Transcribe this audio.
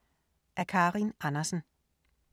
Af Karin Andersen